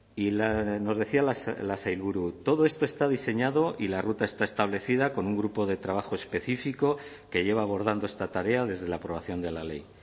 y nos decía la sailburu todo esto está diseñado y la ruta está establecida con un grupo de trabajo específico que lleva abordando esta tarea desde la aprobación de la ley